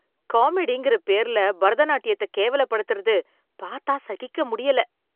காமெடிங்கிற பேர்ல பரதநாட்டியத்தை கேவலப்படுத்தறது பார்த்தா சகிக்க முடியல